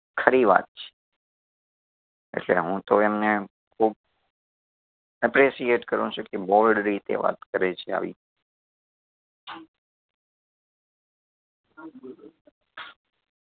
ખરી વાત છે. એટલે હુંતો એમને ખૂબ appreciate કરું છું કે bold રીતે વાત કરે છે આવી